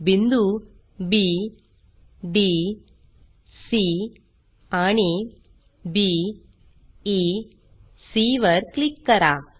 बिंदू B D C आणि B E C वर क्लिक करा